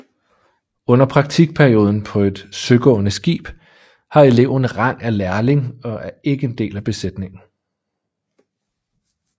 Under praktikperioden på et søgående skib har eleven rang af lærling og er ikke en del af besætningen